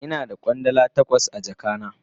Ina da Kwandala takwas a jaka na.